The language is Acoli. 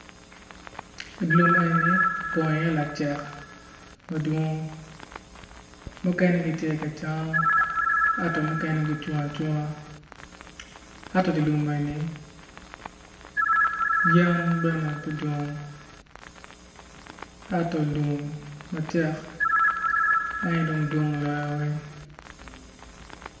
I lum eni opong iye lacek ma dong mukene gitye ka cam ento mukene gucung acunga yen bene tye pe dwong ento lum macek en aye dwong loyo weng.